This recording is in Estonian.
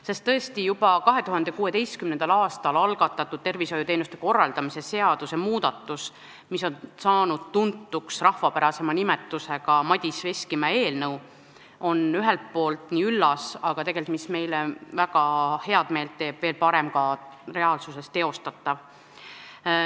Sest tõesti, juba 2016. aastal algatatud tervishoiuteenuste korraldamise seaduse muudatus, mis on saanud tuntuks rahvapärasema nimetusega "Madis Veskimäe eelnõu", on ühelt poolt üllas, aga tegelikult on veel parem see, mis meile teeb väga head meelt, et see on ka teostatav.